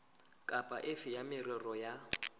kapa efe ya merero ya